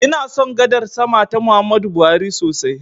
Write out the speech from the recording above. Ina son gadar sama ta Muhammadu Buhari sosai.